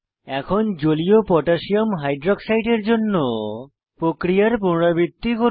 এখন জলীয় potassium hydroxide aqকোহ এর জন্য প্রক্রিয়ার পুনরাবৃত্তি করুন